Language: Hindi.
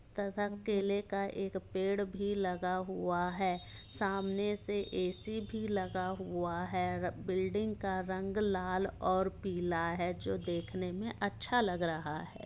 तथा केले का पेड़ भी लगा हुआ है सामने से ए.सी. भी लगा हुआ है बिल्डिंग का रंग लाल और पीला है जो देखने में अच्छा लग रहा है।